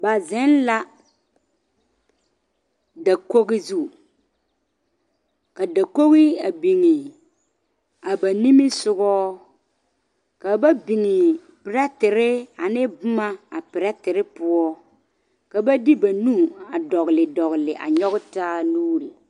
Ba zeŋ la dakogi zu ka dakogi a biŋe ba niŋe sogɔ ka ba biŋe perɛtere ane boma a perɛtere poɔ ka ba de ba nu a dɔgle dɔgle a nyɔge taa nuuri.